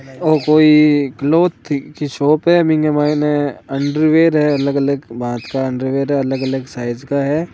ओ कोई क्लोथ की शॉप है इंग माइन अंडरवियर है अलग-अलग भांत का अंडरवियर है अलग-अलग साइज़ का है।